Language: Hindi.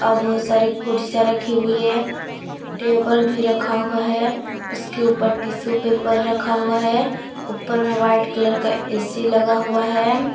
और बहुत सारे रखे हुए है टेबल भी रखा हुआ है उसके ऊपर टिश्यू पेपर रखा हुआ है ऊपर में व्हाइट कलर का एसी लगा हुआ है।